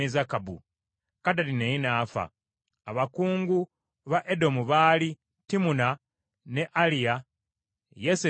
Kadadi naye n’afa. Abakungu ba Edomu baali Timuna, ne Aliya, Yesesi,